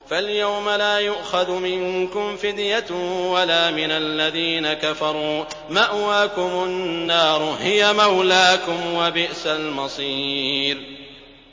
فَالْيَوْمَ لَا يُؤْخَذُ مِنكُمْ فِدْيَةٌ وَلَا مِنَ الَّذِينَ كَفَرُوا ۚ مَأْوَاكُمُ النَّارُ ۖ هِيَ مَوْلَاكُمْ ۖ وَبِئْسَ الْمَصِيرُ